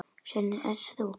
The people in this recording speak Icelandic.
Svenni, ert það þú!?